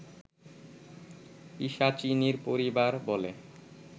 পিশাচিনীর পরিবার বলে